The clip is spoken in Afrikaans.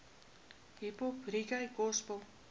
hiphop reggae gospel